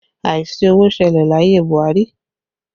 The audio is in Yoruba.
Àìsí owó ṣẹlẹ̀ láyé Buhari